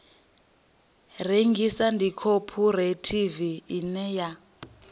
rengisa ndi khophorethivi ine ya